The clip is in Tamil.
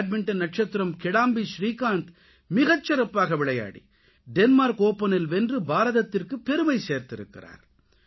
பேட்மின்டன் நட்சத்திரம் கிடாம்பி ஸ்ரீகாந்த் மிகச்சிறப்பாக விளையாடி டென்மார்க் ஓபனில் வென்று பாரதத்திற்குப் பெருமை சேர்த்திருக்கிறார்